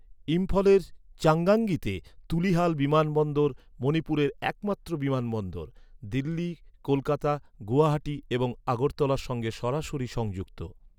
ইম্ফলের চাঙ্গাঙ্গিতে তুলিহাল বিমানবন্দর মণিপুরের একমাত্র বিমানবন্দর, দিল্লি, কলকাতা, গুয়াহাটি এবং আগরতলার সঙ্গে সরাসরি সংযুক্ত।